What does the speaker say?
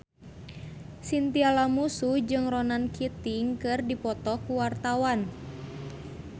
Chintya Lamusu jeung Ronan Keating keur dipoto ku wartawan